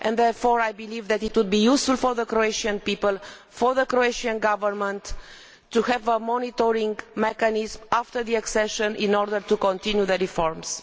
Therefore I believe that it would be useful for the Croatian people and for the Croatian Government to have a monitoring mechanism after accession in order to continue the reforms.